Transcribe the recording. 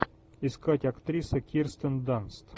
искать актриса кирстен данст